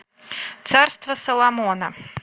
царство соломона